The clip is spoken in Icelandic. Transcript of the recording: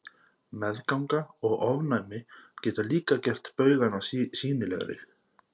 Meðganga og ofnæmi geta líka gert baugana sýnilegri.